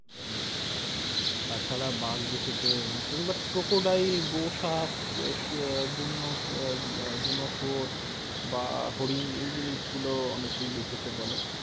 দেখতে পায়। তাছাড়া বাঘ দেখেছে এরম কেও butcrocodile গোসাপ, আহ বুনো সব~ বুনো শুয়োর, বা হরিন এই জিনিসগুলো অনেকেই দেখেছে বলে।